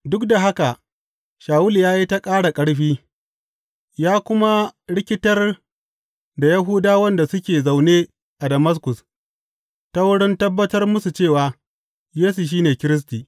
Duk da haka Shawulu ya yi ta ƙara ƙarfi, ya kuma rikitar da Yahudawan da suke zaune a Damaskus, ta wurin tabbatar musu cewa, Yesu shi ne Kiristi.